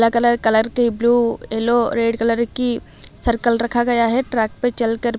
colour की blue yellow red colour की circle रखा गया है ट्रैक पर चल कर--